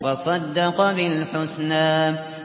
وَصَدَّقَ بِالْحُسْنَىٰ